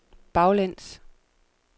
baglæns